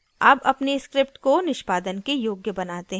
अब अपनी script को निष्पादन के योग्य बनाते हैं